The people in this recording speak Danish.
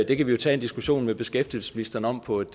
det kan vi jo tage en diskussion med beskæftigelsesministeren om på et